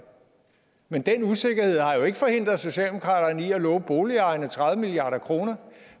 men den usikkerhed har jo ikke forhindret socialdemokratiet i at låne boligejerne tredive milliard kr